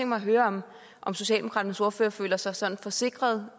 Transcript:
mig at høre om om socialdemokratiets ordfører føler sig sådan forsikret